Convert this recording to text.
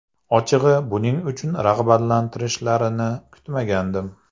Ochig‘i, buning uchun rag‘batlantirishlarini kutmagandim.